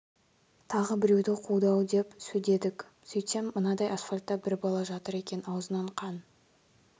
тағы біреуді қуды ау деп сөйдедік сөйтсем мынадай асфальтта бір бала жатыр екен аузынан қан